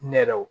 Nɛrɛw